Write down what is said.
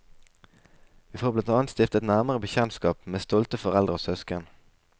Vi får blant annet stifte et nærmere bekjentskap med stolte foreldre og søsken.